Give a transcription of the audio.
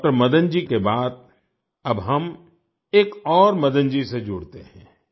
doctor Madan ji के बाद अब हम एक और मदन जी से जुड़ते हैं